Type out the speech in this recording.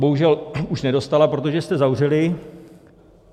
Bohužel už nedostala, protože jste zavřeli.